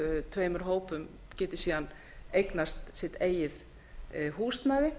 tveimur hópum geti síðan eignast sitt eigið húsnæði